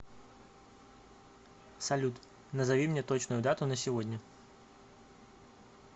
салют назови мне точную дату на сегодня